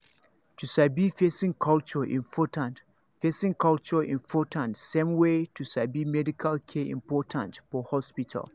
to sabi person culture important person culture important same way to sabi medical care important for hospital